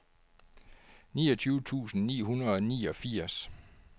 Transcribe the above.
niogtyve tusind ni hundrede og niogfirs